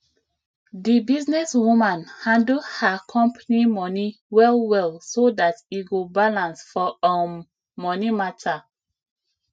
di business woman handle her company money well well so dat e go balance for um money matter